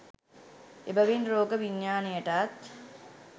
එබැවින් රෝග විඥානයටත්,